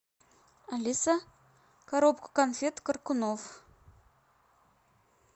алиса коробку конфет коркунов